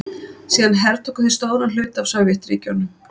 Síðan hertóku þeir stóran hluta af Sovétríkjunum.